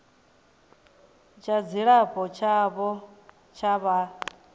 tsha dzilafho tshavho tsha vha